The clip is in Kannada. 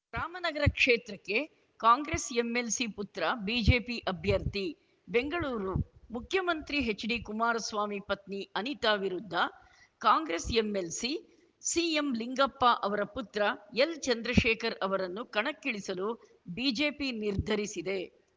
ರಾಮನಗರ ಕ್ಷೇತ್ರಕ್ಕೆ ಕಾಂಗ್ರೆಸ್‌ ಎಂಎಲ್‌ಸಿ ಪುತ್ರ ಬಿಜೆಪಿ ಅಭ್ಯರ್ಥಿ ಬೆಂಗಳೂರು ಮುಖ್ಯಮಂತ್ರಿ ಎಚ್‌ಡಿಕುಮಾರಸ್ವಾಮಿ ಪತ್ನಿ ಅನಿತಾ ವಿರುದ್ಧ ಕಾಂಗ್ರೆಸ್‌ ಎಂಎಲ್‌ಸಿ ಸಿಎಂಲಿಂಗಪ್ಪ ಅವರ ಪುತ್ರ ಎಲ್‌ಚಂದ್ರಶೇಖರ್‌ ಅವರನ್ನು ಕಣಕ್ಕಿಳಿಸಲು ಬಿಜೆಪಿ ನಿರ್ಧರಿಸಿದೆ